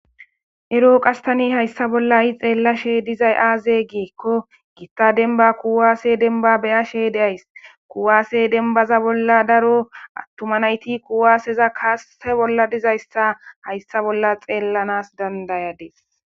Ero qastani hayssa bolla i xeella she dizay aaze giekko giitta denba kuwaase denba beyashe deays kuwaase denbaza bolla daro attuma nayti kuwaaseza kaase bolla dizayssa hayssa bolla xeellanas dandayadees.